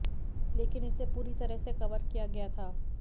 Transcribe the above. लेकिन इसे पूरी तरह से कवर किया गया था